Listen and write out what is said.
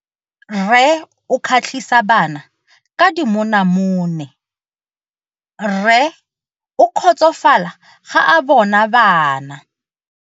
Rre o kgatlhisa bana ka dimonamone. Rre o kgotsofala ga a bona bana.